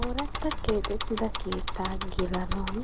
Ooratta keexxettida keettaa gelanawu